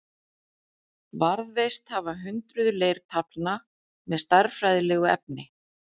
Varðveist hafa hundruð leirtaflna með stærðfræðilegu efni.